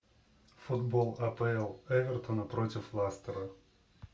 футбол апл эвертона против лестера